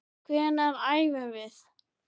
Hvenær æfum við?